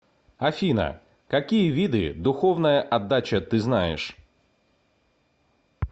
афина какие виды духовная отдача ты знаешь